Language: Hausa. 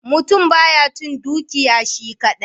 Mutum ba ya cin dukiya shi kadai.